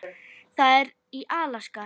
Það er í Alaska.